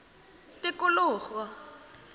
tikologo